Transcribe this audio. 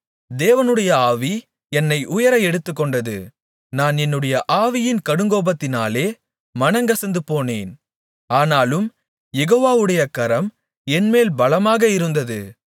தேவனுடைய ஆவி என்னை உயர எடுத்துக்கொண்டது நான் என்னுடைய ஆவியின் கடுங்கோபத்தினாலே மனங்கசந்து போனேன் ஆனாலும் யெகோவாவுடைய கரம் என்மேல் பலமாக இருந்தது